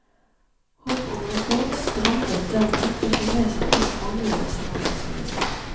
Håpet om rekord strandet dermed på kinesernes manglende samarbeidsvilje.